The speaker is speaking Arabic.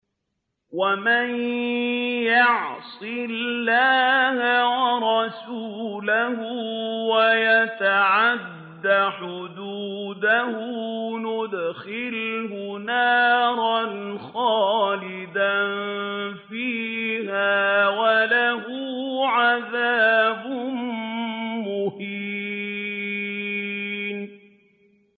وَمَن يَعْصِ اللَّهَ وَرَسُولَهُ وَيَتَعَدَّ حُدُودَهُ يُدْخِلْهُ نَارًا خَالِدًا فِيهَا وَلَهُ عَذَابٌ مُّهِينٌ